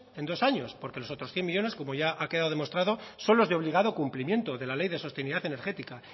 en dos años porque los otros cien millónes como ya ha quedado demostrado son los de obligado cumplimiento de la ley de sostenibilidad energética